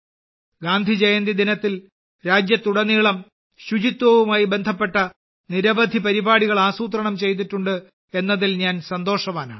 ഗാന്ധിജയന്തി ദിനത്തിൽ രാജ്യത്തുടനീളം ശുചിത്വവുമായി ബന്ധപ്പെട്ട നിരവധി പരിപാടികൾ ആസൂത്രണം ചെയ്തിട്ടുണ്ട് എന്നതിൽ ഞാൻ സന്തോഷവാനാണ്